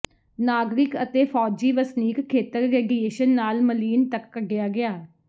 ਨਾਗਰਿਕ ਅਤੇ ਫੌਜੀ ਵਸਨੀਕ ਖੇਤਰ ਰੇਡੀਏਸ਼ਨ ਨਾਲ ਮਲੀਨ ਤੱਕ ਕੱਢਿਆ ਗਿਆ